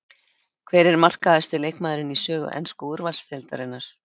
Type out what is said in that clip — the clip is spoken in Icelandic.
Hver er markahæsti leikmaðurinn í sögu ensku úrvalsdeildarinnar?